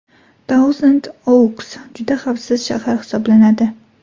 Tauzand-Ouks juda xavfsiz shahar hisoblanadi.